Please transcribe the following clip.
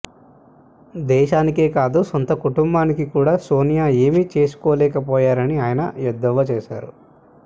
దేశానికే కాదు సొంత కుటుంబానికి కూడా సోనియా ఏమీ చేసుకోలేక పోయారని ఆయన ఎద్దేవా చేశారు